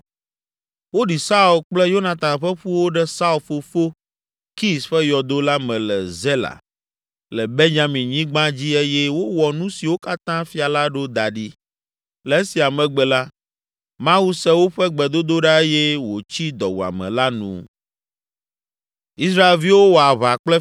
Woɖi Saul kple Yonatan ƒe ƒuwo ɖe Saul fofo, Kis ƒe yɔdo la me le Zela, le Benyaminyigba dzi eye wowɔ nu siwo katã fia la ɖo da ɖi. Le esia megbe la, Mawu se woƒe gbedodoɖa eye wòtsi dɔwuame la nu.